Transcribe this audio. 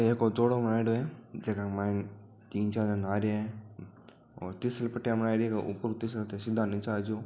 एक यो जोडो बणायोडो है जीका मायने तिन चार जणा नहारिया है और फिसल पटिया बनायोडी है ऊपर तिसल के सीधा नीचे आ जाओ।